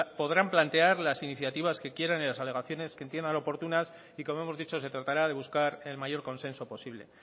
podrán plantear las iniciativas que quieran y las alegaciones que entiendan oportunas y como hemos dicho se tratará de buscar el mayor consenso posible